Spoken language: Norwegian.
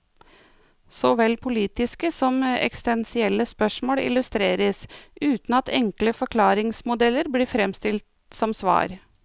Såvel politiske som eksistensielle spørsmål illustreres, uten at enkle forklaringsmodeller blir fremstilt som svar.